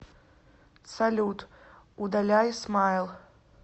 салют удаляй смайл